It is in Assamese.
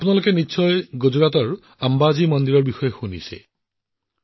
মোৰ পৰিয়ালৰ সদস্যসকল গুজৰাটৰ তীৰ্থস্থান অম্বাজী মন্দিৰৰ কথা আপোনালোক সকলোৱে নিশ্চয় শুনিছে